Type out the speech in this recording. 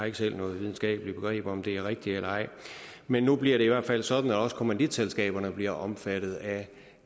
ikke selv noget videnskabeligt begreb om om det er rigtigt eller ej men nu bliver det i hvert fald sådan at også kommanditselskaberne bliver omfattet af